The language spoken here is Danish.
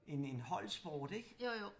En en holdsport ik